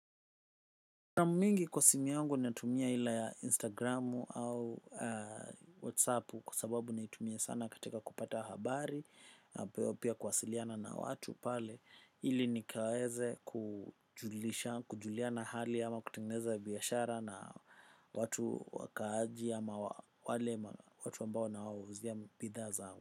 Mingi kwa simu yangu natumia ila ya Instagram au WhatsApp kwa sababu naitumia sana katika kupata habari, pia kuwasiliana na watu pale ili nikaweze kujulisha kujuliana hali ama kutengeneza biashara na watu wakaaji ama wale watu ambao ninaowauizia bidhaa zangu.